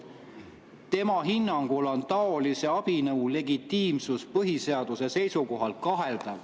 Tema hinnangul on taolise abinõu legitiimsus põhiseaduse seisukohalt kaheldav.